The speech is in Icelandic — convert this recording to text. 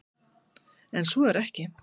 En svo er ekki.